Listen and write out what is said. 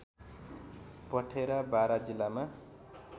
पथेरा बारा जिल्लामा